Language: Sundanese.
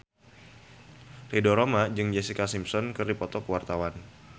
Ridho Roma jeung Jessica Simpson keur dipoto ku wartawan